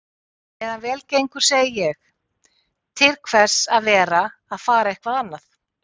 En meðan vel gengur segi ég: Til hvers að vera að fara eitthvað annað?